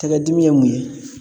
Tɛgɛ dimi ye mun ye?